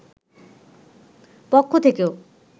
পক্ষ থেকেও